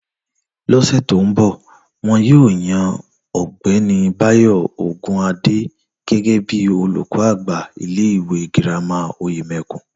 Lọ́sè̩ tó ń bò̩, wo̩n yóò yan Ò̩gbé̩ni Báyò̩ Ògunádé gé̩gé̩ bí olùkó̩ àgbà ilé ìwé girama Òyème̩kùn